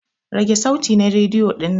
Rage sauti na rediyo dinnan!